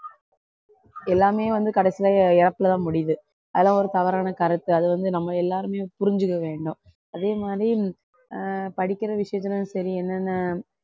எல்லாமே வந்து கடைசில இறப்புல தான் முடியுது அதெல்லாம் ஒரு தவறான கருத்து அது வந்து நம்ம எல்லாருமே புரிஞ்சுக்க வேண்டும் அதே மாதிரி ஆஹ் படிக்கிற விஷயத்துலயும் சரி என்னென்ன